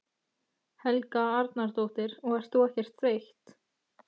Helga Arnardóttir: Og ert þú ekkert þreytt?